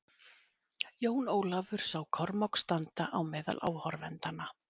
Jón Ólafur sá Kormák standa á meðal áhorfendanna.